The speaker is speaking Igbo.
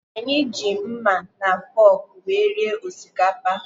Anyị ji mma na fọọkụ wee rie osikapa.